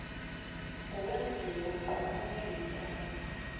wokwenziwa ngcono kweentjalo